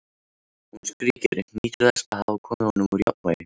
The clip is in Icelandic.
Hún skríkir, nýtur þess að hafa komið honum úr jafnvægi.